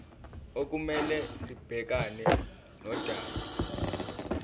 okumele sibhekane nodaba